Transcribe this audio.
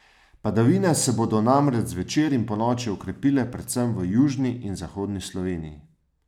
Padavine se bodo namreč zvečer in ponoči okrepile predvsem v južni in zahodni Sloveniji.